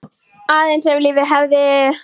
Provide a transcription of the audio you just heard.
Aðeins ef lífið hefði.?